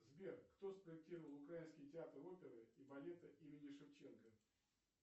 сбер кто спроектировал украинский театр оперы и балета имени шевченко